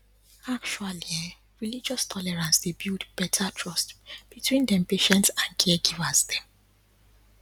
actually um relogious tolerance dey build better trust between dem patients and caregivers dem